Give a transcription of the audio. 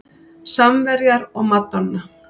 Samverjar og madonna